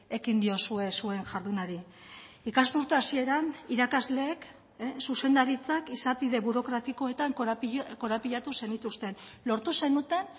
ekin diozue zuen jardunari ikasturte hasieran irakasleek zuzendaritzak izapide burokratikoetan korapilatu zenituzten lortu zenuten